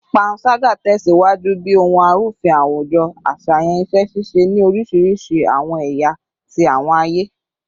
Panṣaga tẹsiwaju bi ohun arufin awujo aṣayan iṣẹ-ṣiṣe ni orisirisi awọn ẹya ti awọn aye